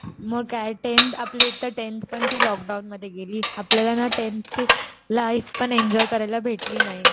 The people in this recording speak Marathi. म काय टेंथ आपली एकतर टेंथपण ती लॉकडाऊन मध्ये गेली. आपल्याला ना टेंथची लाईफ पण एन्जॉय करायला भेटली नाही.